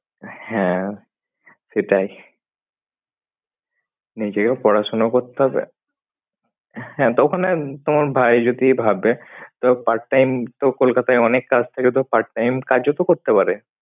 হ্যাঁ সেটাই, নিজেও পড়াশুনো করতে হবে। হ্যাঁ তো ওখানে তোমার ভাই যদি ভাবে তো part time তো কলকাতায় অনেক কাজ থাকে তো part time কাজও তো করতে পারে।